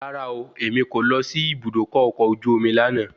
Rárá ooo, èmi kò lọ sí Ibùdókọ̀ ọkọ̀ ojú omi lànà.